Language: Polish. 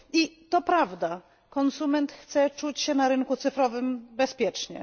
I to prawda konsument chce czuć się na rynku cyfrowym bezpiecznie.